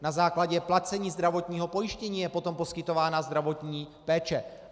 Na základě placení zdravotního pojištění je potom poskytována zdravotní péče.